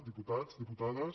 diputats diputades